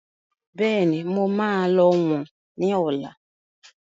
Bẹ́ẹ̀ni, mo máa lọ wọ̀n ni ọ̀la.